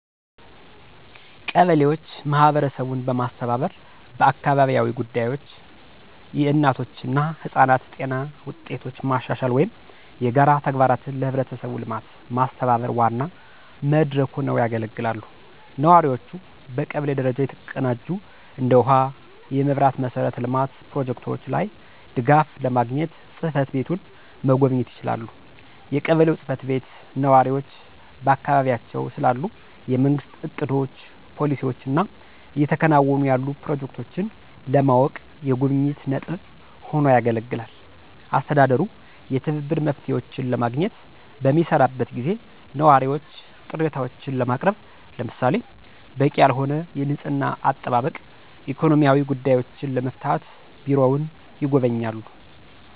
ቀበሌዎች ማህበረሰቡን በማስተባበር በአካባቢያዊ ጉዳዮች፣ የእናቶች እና ህጻናት ጤና ውጤቶች ማሻሻል ወይም የጋራ ተግባራትን ለህብረተሰቡ ልማት ማስተባበር ዋና መድረክ ሆነው ያገለግላሉ። ነዋሪዎቹ በቀበሌ ደረጃ የተቀናጁ እንደ ውሃ፣ የመብራት መሠረተ ልማት ፕሮጀክቶች ላይ ድጋፍ ለማግኘት ጽ/ቤቱን መጎብኘት ይችላሉ። የቀበሌው ጽ/ቤት ነዋሪዎች በአካባቢያቸው ስላሉ የመንግስት እቅዶች፣ ፖሊሲዎች እና እየተከናወኑ ያሉ ፕሮጀክቶችን ለማወቅ የጉብኝት ነጥብ ሆኖ ያገለግላል። አስተዳደሩ የትብብር መፍትሄዎችን ለማግኘት በሚሰራበት ጊዜ ነዋሪዎች ቅሬታዎችን ለማቅረብ ለምሳሌ - በቂ ያልሆነ የንፅህና አጠባበቅ፣ ኢኮኖሚያዊ ጉዳዮችን ለመፍታት ቢሮውን ይጎበኛሉ።